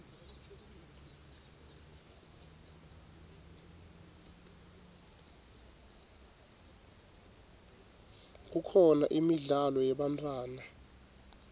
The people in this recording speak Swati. kukhona imidlalo yebantfwana